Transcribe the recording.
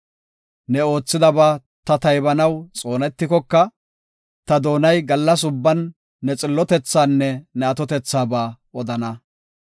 Ne oothidaba ta taybanaw xoonetikoka, ta doonay gallas ubban ne xillotethaanne ne atotethaaba odana.